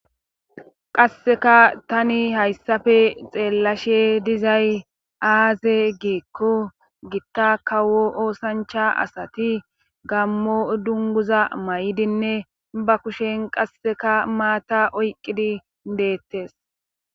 Qasseka tani hayssafe xeellashe dizay aaze geekko gitta kawo oosancha asati gammo dunguza may'idinne ba kushen qasseka maata oyqqidi deettes.